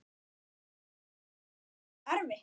Þetta er bara of erfitt.